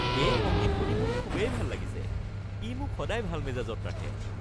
এই সংগীত শুনি মোৰ খুবেই ভাল লাগিছে। ই মোক সদায় ভাল মেজাজত ৰাখে।